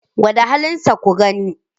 Gwada halinsa ku gani.